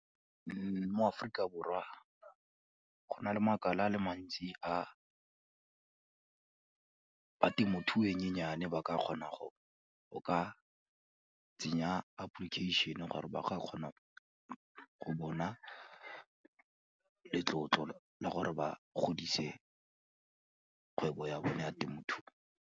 Mo Aforika Borwa go na le makala a le mantsi a ba temothuo e nyenyane ba ka kgona go ka tsenya application gore ba kgona go bona letlotlo le gore ba godise kgwebo ya bone ya temothuo.